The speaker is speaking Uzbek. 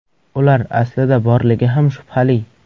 Ular aslida borligi ham shubhali.